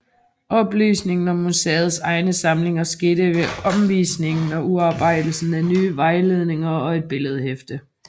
Oplysningen om museets egne samlinger skete ved omvisninger og udarbejdelsen af nye vejledninger og et billedhæfte